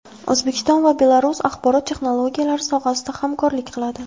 O‘zbekiston va Belarus axborot texnologiyalari sohasida hamkorlik qiladi.